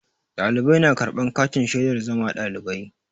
Ɗalibai na karɓan katin shaidar zama ɗalibai.